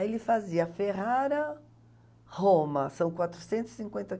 Aí ele fazia a Ferrara-Roma, são quatrocentos e cinquenta